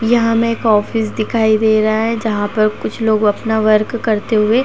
यहाँ मे एक ऑफिस दिखाई दे रहा है। जहां पर कुछ लोग अपना वर्क करते हुए।